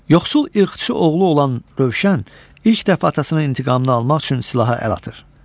Yoxsul ilxıçı oğlu olan Rövşən ilk dəfə atasının intiqamını almaq üçün silaha əl atır.